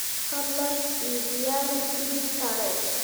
fadlan ii diyaari tigidh tareen